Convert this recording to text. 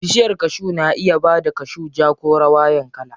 Bishiyar kashu na iya bada kashu ja ko rawayan kala.